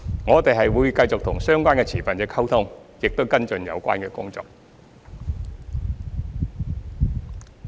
我們會繼續與相關持份者溝通，亦會跟進有關工作。